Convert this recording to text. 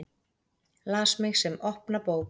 Las mig sem opna bók.